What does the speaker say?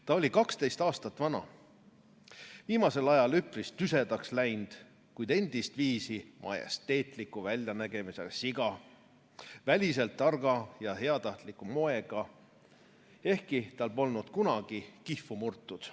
Ta oli kaksteist aastat vana, viimasel ajal üpris tüsedaks läinud, kuid endist viisi majesteetliku väljanägemisega siga, väliselt targa ja heatahtliku moega, ehkki tal polnud kunagi kihvu murtud.